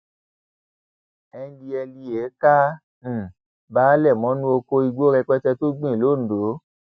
ndtea ka um baele mọnú oko igbó rẹpẹtẹ tó gbìn londo